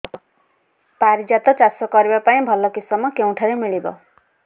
ପାରିଜାତ ଚାଷ କରିବା ପାଇଁ ଭଲ କିଶମ କେଉଁଠାରୁ ମିଳିବ